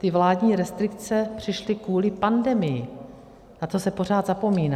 Ty vládní restrikce přišly kvůli pandemii, na to se pořád zapomíná.